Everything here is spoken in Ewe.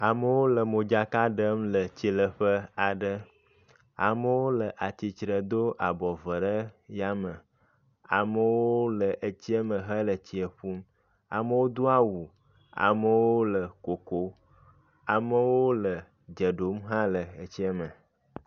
Amewo le modzaka ɖem le tsileƒe aɖe. Amewo le atsitre edo abɔ vɔ ɖe yame. Amewo le etsia me hele etsia ƒum. Amewo do awu, amewo le koko, amewo le dze ɖom hã le etsia me.